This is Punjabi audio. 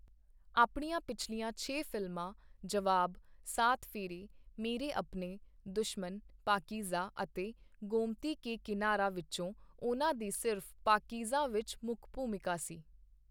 ਆਪਣੀਆਂ ਪਿਛਲੀਆਂ ਛੇ ਫ਼ਿਲਮਾਂ 'ਜਵਾਬ', 'ਸਾਤ ਫੇਰੇ', 'ਮੇਰੇ ਅਪਨੇ', 'ਦੁਸ਼ਮਨ', 'ਪਾਕਿਜ਼ਾਹ' ਅਤੇ 'ਗੋਮਤੀ ਕੇ ਕਿਨਾਰਾ' ਵਿੱਚੋਂ ਉਨ੍ਹਾਂ ਦੀ ਸਿਰਫ਼ 'ਪਾਕੀਜ਼ਾ' ਵਿੱਚ ਮੁੱਖ ਭੂਮਿਕਾ ਸੀ।